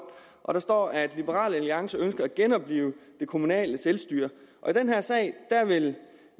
og der står at liberal alliance ønsker at genoplive det kommunale selvstyre i den her sag vil